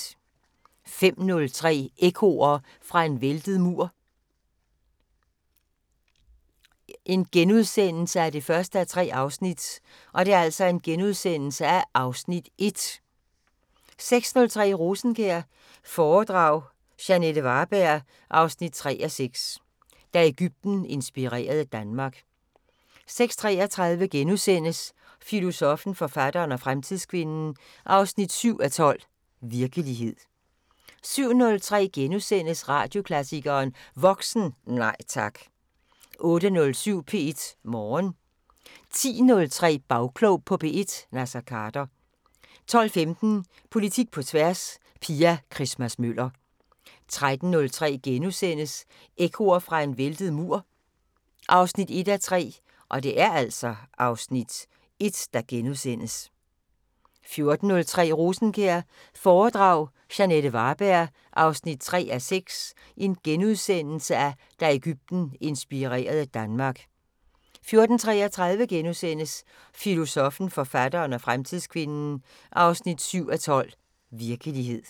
05:03: Ekkoer fra en væltet mur 1:3 (Afs. 1)* 06:03: Rosenkjær foredrag – Jeanette Varberg 3:6: Da Egypten inspirerede Danmark 06:33: Filosoffen, forfatteren og fremtidskvinden 7:12: Virkelighed * 07:03: Radioklassikeren: Voksen – Nej tak! * 08:07: P1 Morgen 10:03: Bagklog på P1: Naser Khader 12:15: Politik på tværs: Pia Christmas-Møller 13:03: Ekkoer fra en væltet mur 1:3 (Afs. 1)* 14:03: Rosenkjær foredrag – Jeanette Varberg 3:6: Da Egypten inspirerede Danmark * 14:33: Filosoffen, forfatteren og fremtidskvinden 7:12: Virkelighed *